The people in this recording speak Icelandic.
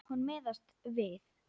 Hún miðast við.